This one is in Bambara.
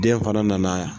Den fana nana